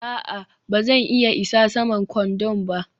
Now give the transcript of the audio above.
a'a, ba zan iya isa saman kwandon ba